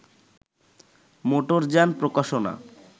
মোটরযান প্রকাশনা